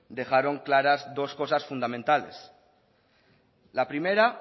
dejaron claras dos cosas fundamentales la primera